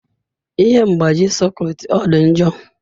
Ihe mgbaji sekit ọ dị njọ?